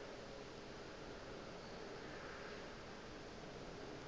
go na le bao ba